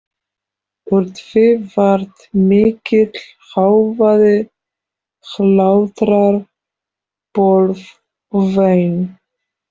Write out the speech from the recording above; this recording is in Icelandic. Úr því varð mikill hávaði, hlátrar, bölv og vein.